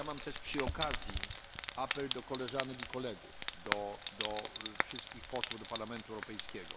Ale mam też przy okazji apel do koleżanek i kolegów, do wszystkich posłów do Parlamentu Europejskiego.